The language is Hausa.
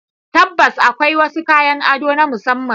Tabbas, akwai wasu kayan ado na musamman.